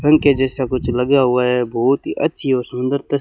पंखे जैसा कुछ लगा हुआ है बहोत ही अच्छी और सुंदर तस्--